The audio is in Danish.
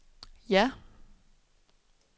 ja